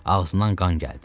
Ağzından qan gəldi.